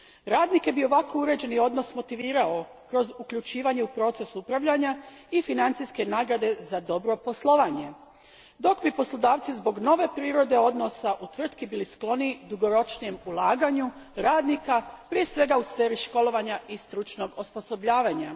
Radnike bi ovako uređen odnos motivirao kroz uključivanje u proces upravljanja i financijske nagrade za dobro poslovanje, dok bi poslodavci zbog nove prirode odnosa u tvrtki bili skloniji dugoročnijem ulaganju radnika, prije svega u sferi školovanja i stručnog osposobljavanja.